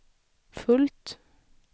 fullt